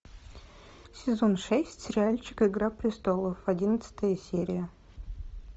сезон шесть сериальчик игра престолов одиннадцатая серия